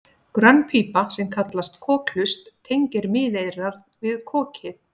grönn pípa sem kallast kokhlust tengir miðeyrað við kokið